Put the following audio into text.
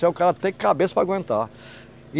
Precisa o cara ter a cabeça para aguentar.